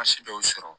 dɔw sɔrɔ